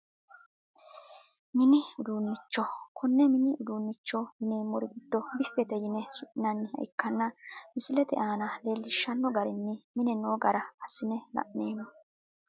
Mini uduunicho kone mini uduunicho yinemori giddo bifete yine suminaniha ikana misilete aana leelishano garirini mine noo gara asine la`neemo.